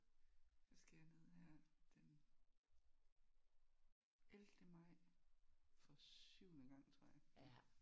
Der skal jeg ned her den ellevte maj for syvende gang tror jeg